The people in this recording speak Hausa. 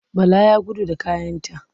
Bala ya gudu da kayanta.